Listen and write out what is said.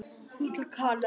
Þú til Kanarí?